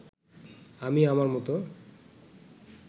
আমি আমার মতো